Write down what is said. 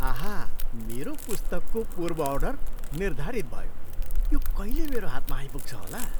आहा! मेरो पुस्तकको पूर्व अर्डर निर्धारित भयो। यो कहिले मेरो हातमा आइपुग्छ होला?